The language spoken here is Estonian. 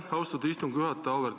Aitäh, austatud istungi juhataja!